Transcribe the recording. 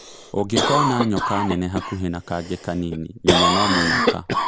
ũngĩkona nyoka nene hakuhĩ na kangi kanini menya no mũnyaka.